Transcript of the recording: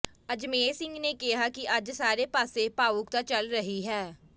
ਅਜਮੇਰ ਸਿੰਘ ਨੇ ਕਿਹਾ ਕਿ ਅੱਜ ਸਾਰੇ ਪਾਸੇ ਭਾਵੁਕਤਾ ਚੱਲ ਰਹੀ ਹੈ